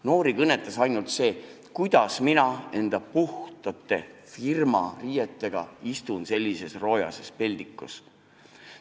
Noori kõnetas ainult ettekujutus, kuidas nad ise enda puhaste firmariietega istuvad sellises roojases peldikus.